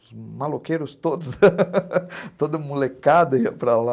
Os maloqueiros todos, toda molecada ia para lá.